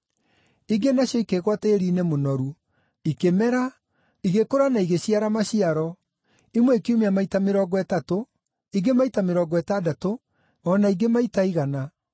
Ingĩ nacio ikĩgũa tĩĩri-inĩ mũnoru. Ikĩmera, igĩkũra na igĩciara maciaro, imwe ikiumia maita mĩrongo ĩtatũ, ingĩ maita mĩrongo ĩtandatũ, o na ingĩ maita igana.”